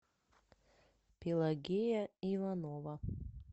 пелагея иванова